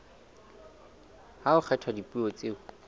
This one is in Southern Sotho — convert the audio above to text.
ha ho kgethwa dipuo tseo